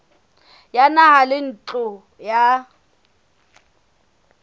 ya naha le ntlo ya